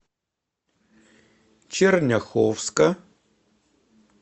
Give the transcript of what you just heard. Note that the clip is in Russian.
черняховска